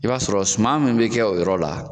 I b'a sɔrɔ sumaman min bɛ kɛ o yɔrɔ la.